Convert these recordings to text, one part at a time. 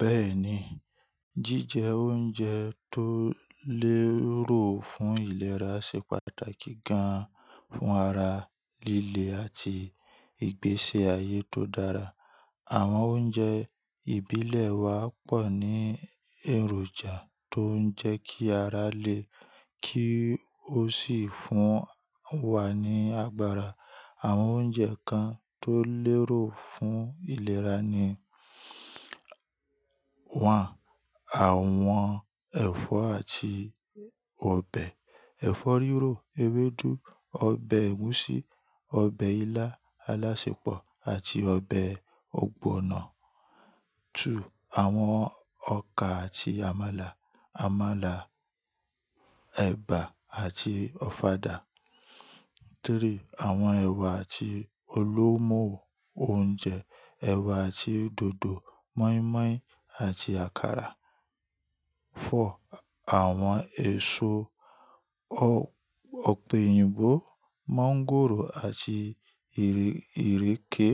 Bẹ́ẹ̀ni, jíjẹ oúnjẹ tó lérò fún ìlera ṣe pàtàkì gan-an fún ara líle àti ìgbésẹ̀ ayé tó dára. Àwọn oúnjẹ ìbílẹ̀ wa pọ̀ ní èròjà tó ń jẹ́ kí ara le, kí ó sì fún wa ní agbára. Àwọn oúnjẹ kan tó lérò fún ìlera ni: wọ́n àwọn ẹ̀fọ́ àti ọbẹ̀. Ẹ̀fọ́ rírò, ewédú, ọbẹ̀ ẹ̀gúsí, ọbẹ̀ ilá alásẹpọ̀ àti ọbẹ̀ ọ̀gbọ̀nọ̀. Àwọn ọkà àti àmàlà, àmàlà, ẹ̀bà àti ọ̀fadà. Àwọn ẹ̀wà àti olómo oúnjẹ, ẹ̀wà àti dòdò, mọ́ímọ́í àti àkàrà. Àwọn èso, ọ̀pẹ̀ òyìnbó, mọ́ńgòrò àti ìrèké.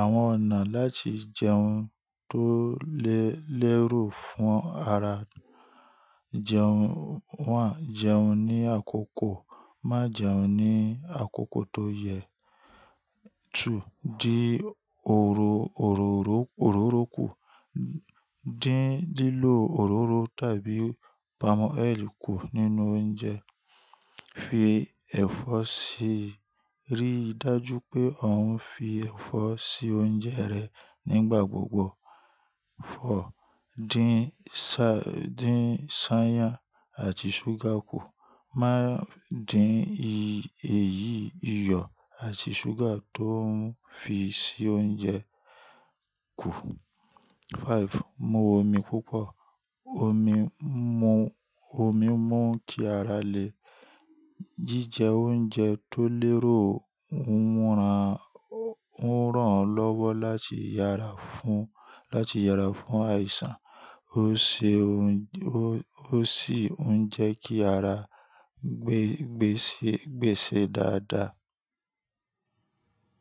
Àwọn ọ̀nà láti jẹun tó lé-lérò fún ara jẹun: jẹun ní àkókò, má jẹun ní àkókò tó yẹ. Dí òróró kù, dín lílò òróró tàbí palm oil kù nínú oúnjẹ. Fi ẹ̀fọ́ sí i, rí dájú pé ò ń fi ẹ̀fọ́ sí oúnjẹ rẹ nígbà gbogbo. Dín sadín ṣányàn àti ṣúgà kù. Má dín èyí ìyọ̀ àti ṣúgà tó ń fi sí oúnjẹ kù. Mu omi púpọ̀, omi mú-omi mú kí ara le. Jíjẹ oúnjẹ tó lérò ń rán lọ́wọ́ láti yára fún, láti yára fún àìsàn. Ó ṣe ó ó sì ń jẹ́ kí ara gbé-gbésè dáadáa.